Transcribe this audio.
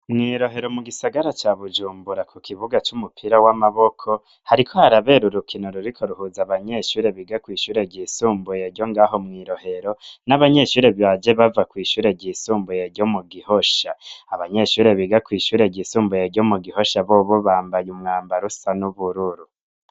Mw'irohero mu gisagara ca bujumbura ku kibuga c'umupira w'amaboko hariko harabera urukino ruriko ruhuza abanyeshure biga kw'ishure ryisumbuye ryo ngaho mw'irohero n'abanyeshure baje bava kw'ishure ryisumbuye ryo mu gihosha abanyeshure biga kw'ishure ryisumbuye ryo mu gihosha bobo bambaye umwambaro usa n'ubururu.